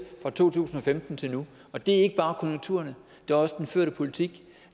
fra to tusind og femten til nu og det er ikke bare konjunkturerne det er også den førte politik